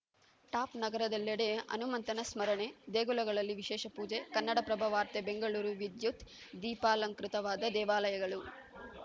ಟಾಪ್‌ನಗರದೆಲ್ಲೆಡೆ ಹನುಮಂತನ ಸ್ಮರಣೆ ದೇಗುಲಗಳಲ್ಲಿ ವಿಶೇಷ ಪೂಜೆ ಕನ್ನಡಪ್ರಭ ವಾರ್ತೆ ಬೆಂಗಳೂರು ವಿದ್ಯುತ್‌ ದೀಪಾಲಂಕೃತವಾದ ದೇವಾಲಯಗಳು